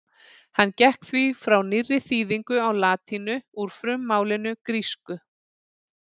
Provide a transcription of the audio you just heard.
Hann gekk því frá nýrri þýðingu á latínu úr frummálinu grísku.